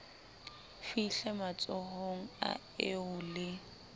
fihle matsohong a eo le